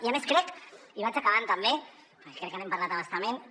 i a més crec i vaig acabant també perquè crec que n’hem parlat a bastament